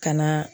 Ka na